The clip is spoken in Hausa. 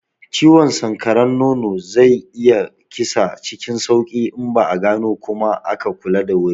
Ciwon sanƙaran nono zai iya kisa cikin sauki in ba a gano kuma aka kula da wuri ba.